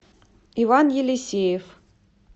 иван елисеев